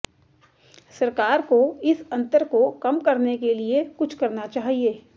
सरकार को इस अंतर को कम करने के लिए कुछ करना चाहिए